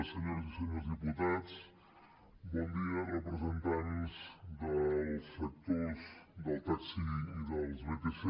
senyores i senyors diputats bon dia representants dels sectors del taxi i dels vtc